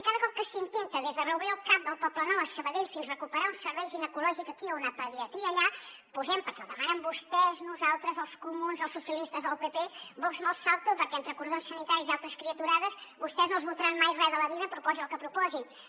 i cada cop que s’intenta des de reobrir el cap del poblenou a sabadell fins recuperar un servei ginecològic aquí o una pediatria allà posem per què ho demanen vostès nosaltres els comuns els socialistes o el pp vox me’ls salto perquè entre cordons sanitaris i altres criaturades vostès no els votaran mai res a la vida proposin el que proposin